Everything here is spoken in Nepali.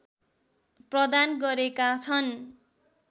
प्रदान गरेका छन्